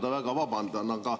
Palun väga vabandust!